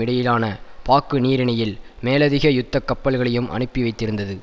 இடையிலான பாக்குநீரிணையில் மேலதிக யுத்த கப்பல்களையும் அனுப்பிவைத்திருந்தது